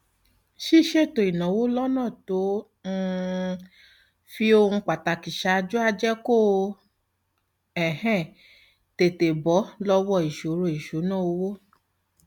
ṣíṣètò ìnáwó lọnà tó um fi ohun pàtàkì ṣáájú á jẹ kó o um tètè bọ lọwọ ìṣòro ìṣúnná owó